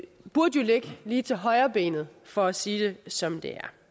burde jo ligge lige til højrebenet for at sige det som